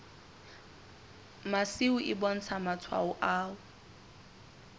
masimo e bontsha matshwao a